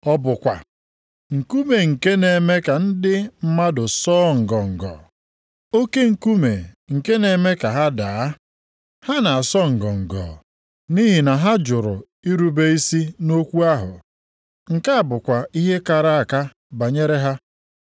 Ọ bụ kwa, “Nkume nke na-eme ka ndị mmadụ sọọ ngọngọ, oke nkume nke na-eme ka ha daa.” + 2:8 \+xt Aịz 8:14\+xt* Ha na-asọ ngọngọ nʼihi na ha jụrụ irube isi nʼokwu ahụ. Nke a bụkwa ihe a kara aka banyere ha.